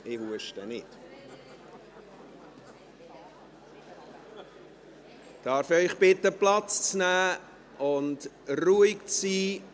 Liebe Kolleginnen und Kollegen, darf ich Sie bitten, Platz zu nehmen und ruhig zu sein?